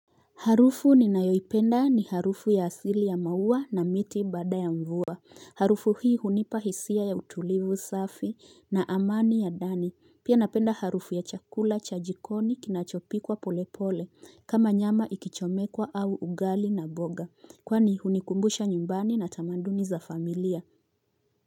Harufu ninayoipenda ni harufu ya asili ya maua na miti baada ya mvua. Harufu hii hunipa hisia ya utulivu safi na amani ya ndani. Pia napenda harufu ya chakula cha jikoni kinachopikwa polepole kama nyama ikichomekwa au ugali na mboga. Kwani hunikumbusha nyumbani na tamaduni za familia.